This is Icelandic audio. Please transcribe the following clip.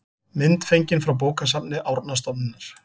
mynd fengin frá bókasafni árnastofnunar